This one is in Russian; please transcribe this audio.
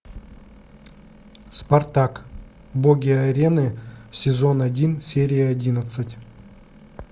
спартак боги арены сезон один серия одиннадцать